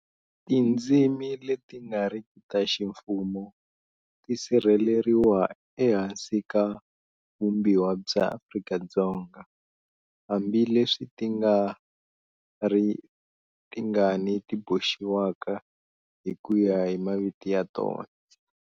Tindzimi leti nga riki ta ximfumo ti sirheleriwa ehansi ka Vumbiwa bya Afrika-Dzonga, hambi leswi ti nga ri tingani ti boxiwaka hi ku ya hi maviti ya tona.